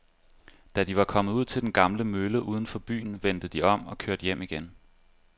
Da de var kommet ud til den gamle mølle uden for byen, vendte de om og kørte hjem igen.